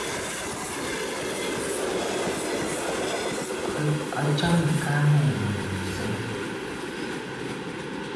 Achame kamenyun missing'.